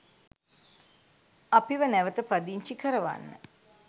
අපිව නැවත පදිංචි කරවන්න